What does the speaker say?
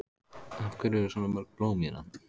Af hverju eru svona mörg blóm hérna?